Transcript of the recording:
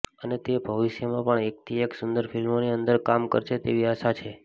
અને તે ભવિષ્યમાં પણ એકથી એક સુંદર ફિલ્મો ની અંદર કામ કરશે તેવી આશા છે